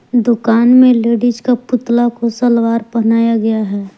दुकान में लेडिस का पुतला को सलवार पहनाया गया है।